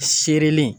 Serili